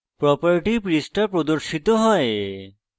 property পৃষ্ঠা প্রর্দশিত হয়